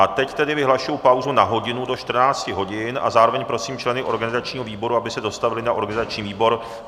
A teď tedy vyhlašuji pauzu na hodinu do 14 hodin a zároveň prosím členy organizačního výboru, aby se dostavili na organizační výbor.